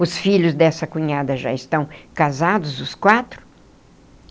Os filhos dessa cunhada já estão casados, os quatro.